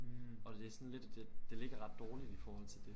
Og det sådan lidt det det ligger ret dårligt i forhold til dét